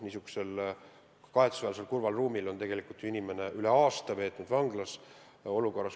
Praegu on see juhtum kahetsusväärselt kurval moel arenenud, tegelikult on inimene üle aasta veetnud vanglas.